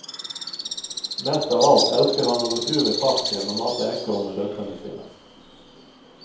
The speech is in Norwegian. Mest av alt elsker han å gå tur i parken og mate ekorn med døtrene sine.